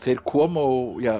koma og